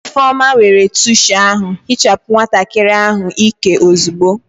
Ifeoma, were tishu ahụ hichapụ nwatakịrị ahụ ịkẹ ozugbo!